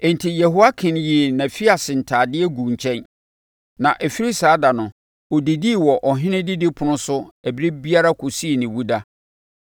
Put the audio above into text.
Enti Yehoiakin yii nʼafiase ntadeɛ guu nkyɛn, na ɛfiri saa ɛda no ɔdidii wɔ ɔhene didipono so ɛberɛ biara kɔsii ne wu da.